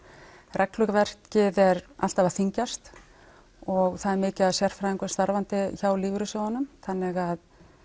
regluverkið er alltaf að þyngjast og það er mikið af sérfræðingum starfandi hjá lífeyrissjóðunum þannig